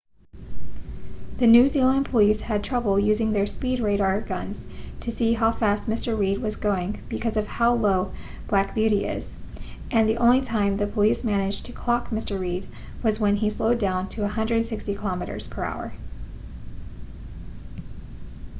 the new zealand police had trouble using their speed radar guns to see how fast mr reid was going because of how low black beauty is and the only time the police managed to clock mr reid was when he slowed down to 160km/h